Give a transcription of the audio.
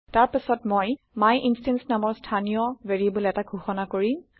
তাৰ পাছত মই মাইনষ্টেন্স নামৰ ইনষ্টেন্স ভেৰিয়েবল এটা ঘোষণা কৰিম